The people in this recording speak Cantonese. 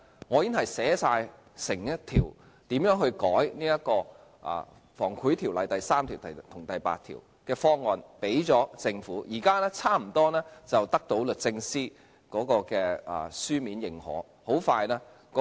我已經提交一個修改《防止賄賂條例》第3條及第8條的方案給政府，現時差不多得到律政司的書面認可。